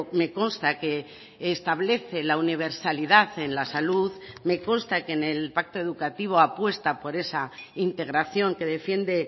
me consta que establece la universalidad en la salud me consta que en el pacto educativo apuesta por esa integración que defiende